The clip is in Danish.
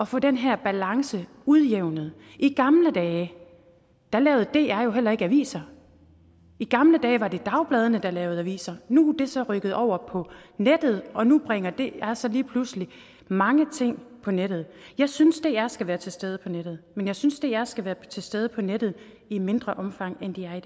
få den her balance udjævnet i gamle dage lavede dr jo heller ikke aviser i gamle dage var det dagbladene der lavede aviser nu er det så rykket over på nettet og nu bringer dr så lige pludselig mange ting på nettet jeg synes dr skal være til stede på nettet men jeg synes dr skal være til stede på nettet i mindre omfang end de er